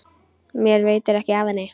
Mér veitir ekki af henni.